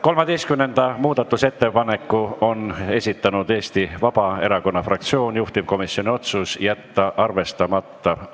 13. muudatusettepaneku on esitanud Eesti Vabaerakonna fraktsioon, juhtivkomisjoni otsus: jätta arvestamata.